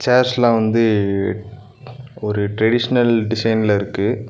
சேர்ஸ்லா வந்து ஒரு ட்ரேடிஷ்னல் டிசைன்ல இருக்கு.